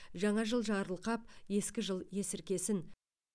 жаңа жыл жарылқап ескі жыл есіркесін